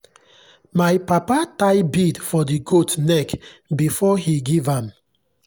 my papa tie bead for the goat neck before he give am.